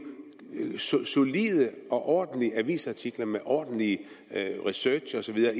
i solide og ordentlige avisartikler med ordentlig research og så videre